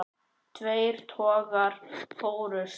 Tveir togarar fórust.